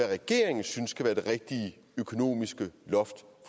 regeringen synes skal være det rigtige økonomiske loft